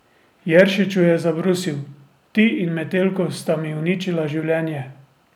Jeršiču je zabrusil: 'Ti in Metelko sta mi uničila življenje.